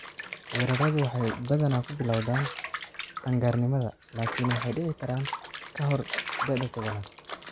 Weeraradu waxay badanaa ku bilowdaan qaan-gaarnimada, laakiin waxay dhici karaan ka hor da'da tobanad.